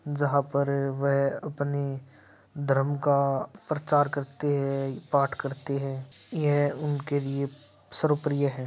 जहाँ पर वह अपनी धर्म का प्रचार करते है पाठ करते है। यह उनके लिए सर्वप्रिय है।